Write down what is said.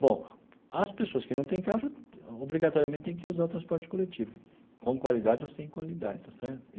Bom, as pessoas que não têm carro já, obrigatoriamente, têm que usar o transporte coletivo, com qualidade ou sem qualidade está certo?